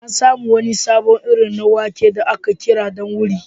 An samu wani sabon iri na wake da ake kira ɗan wuri.